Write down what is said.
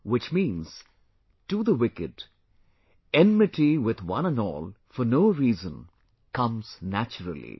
Which means, to the wicked, enmity with one and all for no reason comes naturally